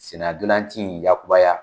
Senna ntolanci in yakubaya